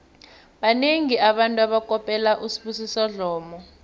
banengi abantu abakopela usibusiso dlomo